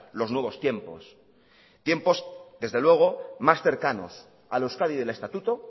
los nuevos tiempos tiempos desde luego más cercanos a la euskadi del estatuto